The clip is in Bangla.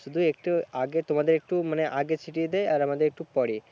শুধু একটু আগে তোমাদের একটু মানে আগে ছিটিয়ে দেয় আর আমাদের একটু পরে